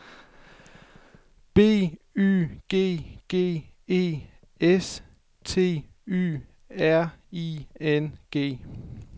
B Y G G E S T Y R I N G